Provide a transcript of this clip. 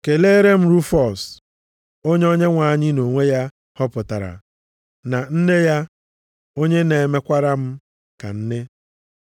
Keleere m Rufọs onye Onyenwe anyị nʼonwe ya họpụtara, na nne ya, onye na-emekwara m ka nne. + 16:13 \+xt Mak 15:21\+xt*